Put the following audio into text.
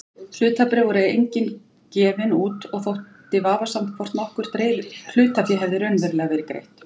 Hlutabréf voru engin gefin út og þótti vafasamt hvort nokkurt hlutafé hefði raunverulega verið greitt.